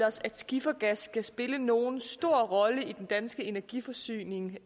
os at skifergas skal spille nogen stor rolle i den danske energiforsyning